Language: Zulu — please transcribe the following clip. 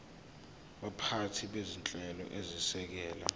baphathi bezinhlelo ezisekela